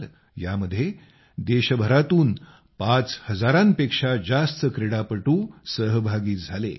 यामध्ये देशभरातून पाच हजारांपेक्षा जास्त क्रीडापटू सहभागी झाले आहेत